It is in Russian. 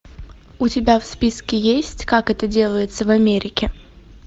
у тебя в списке есть как это делается в америке